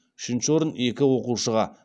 үшінші орын екі оқушыға